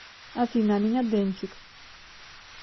афина а меня дэнчик